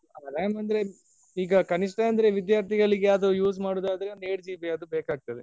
Ram ಅಂದ್ರೆ ಈಗ ಕನಿಷ್ಠ ಅಂದ್ರೆ ವಿದ್ಯಾರ್ಥಿಗಳಿಗೆ ಅದು use ಮಾಡೋದ್ ಆದ್ರೆ ಒಂದ್ eight GB ಆದ್ರೂ ಬೇಕಾಗ್ತದೆ.